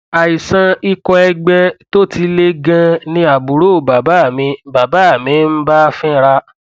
àìsàn ikọ ẹgbẹ tó ti le ganan ni àbúrò bàbá mi bàbá mi ń bá fínra